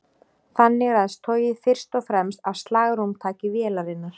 Þannig ræðst togið fyrst og fremst af slagrúmtaki vélarinnar.